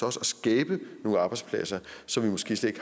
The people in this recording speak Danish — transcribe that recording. også at skabe nogle arbejdspladser som vi måske slet